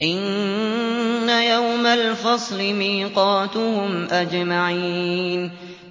إِنَّ يَوْمَ الْفَصْلِ مِيقَاتُهُمْ أَجْمَعِينَ